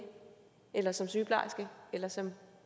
eller som sygeplejerske eller som